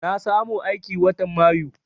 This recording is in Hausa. Na samu aiki watan mayu